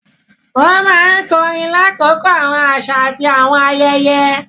Wọn máa nkorin lakoko awọn aṣa ati awọn ayẹyẹ.